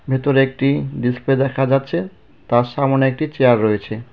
ভেতর একটি ডিসপ্লে দেখা যাচ্ছে তার সামোনে একটি চেয়ার রয়েছে.